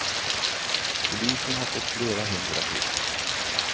Polisen har fått flera hundra tips.